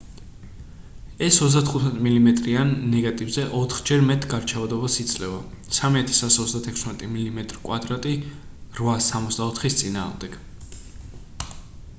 ეს 35 მმ-იან ნეგატივზე ოთხჯერ მეტ გარჩევადობას იძლევა 3136 მმ² 864-ის წინააღმდეგ